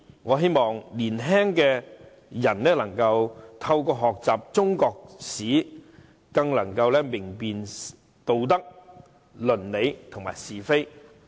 我希望青年人能透過學習中國歷史，可以更明辨道德、論理及是非。